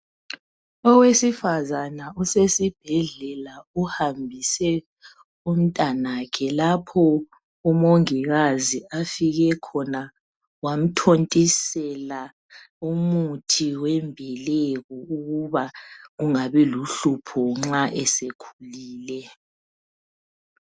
Owesifazana usesibhedlela uhambise umntanakhe lapho umongikazi afike khona wamthontisela umuthi wembeleko kungabi luhlupho sekhulile.